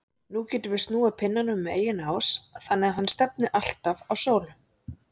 Nú getum við snúið pinnanum um eigin ás þannig að hann stefni alltaf á sólu.